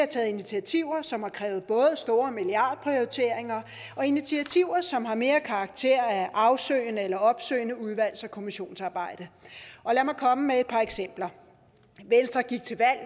taget initiativer som har krævet milliardprioriteringer og initiativer som har mere karakter af afsøgende eller opsøgende udvalgs og kommissionsarbejde lad mig komme med et par eksempler venstre gik til valg